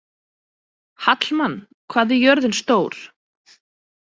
Hallmann, hvað er jörðin stór?